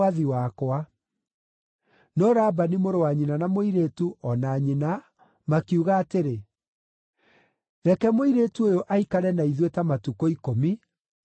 No Labani mũrũ wa nyina na mũirĩtu, o na nyina, makiuga atĩrĩ, “Reke mũirĩtu ũyũ aikare na ithuĩ ta matukũ ikũmi; mũcooke mũthiĩ.”